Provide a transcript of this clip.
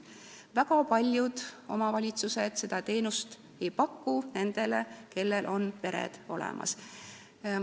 Väga paljud omavalitsused ei paku seda teenust nendele, kellel on pere olemas.